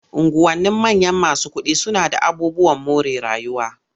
Unguwannin manyan masu kuɗi suna d aabubuwan more rayuwa.